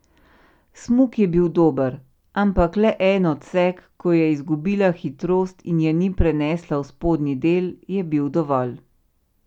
Smuk je bil dober, ampak le en odsek, ko je izgubila hitrost in je ni prenesla v spodnji del, je bil dovolj.